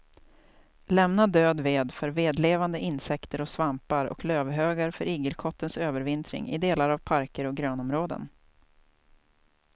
Lämna död ved för vedlevande insekter och svampar och lövhögar för igelkottens övervintring i delar av parker och grönområden.